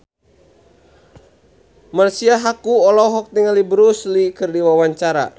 Marisa Haque olohok ningali Bruce Lee keur diwawancara